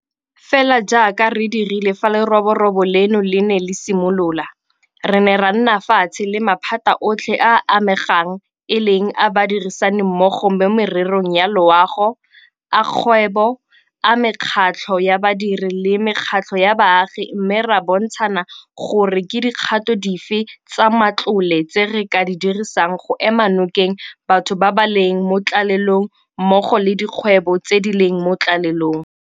Fela jaaka re dirile fa leroborobo leno le ne le simolola, re ne ra nna fatshe le maphata otlhe a a amegang e leng a badirisanimmogo mo mererong ya loago, a kgwebo, a mekgatlho ya badiri le a mekgatlho ya baagi mme ra bontshana gore ke dikgato dife tsa matlole tse re ka di dirisang go ema nokeng batho ba ba leng mo tlalelong mmogo le dikgwebo tse di leng mo tlalelong.